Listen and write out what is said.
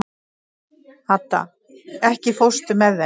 Hadda, ekki fórstu með þeim?